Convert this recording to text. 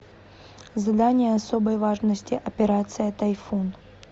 задание особой важности операция тайфун